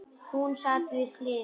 Hún sat við hlið mér.